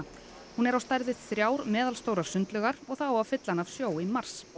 hún er á stærð við þrjár meðalstórar sundlaugar og það á að fylla hana af sjó í mars